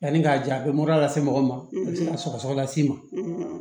Yanni k'a ja a bɛ mɔra lase mɔgɔ ma a bɛ se ka sɔgɔsɔgɔ las'i ma